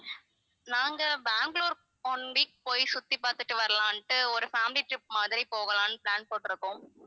நாங்க Bangalore one week போய் சுத்தி பார்த்துட்டு வரலாம்னுட்டு ஒரு family trip மாதிரி போகலாம்னு plan போட்டிருக்கோம்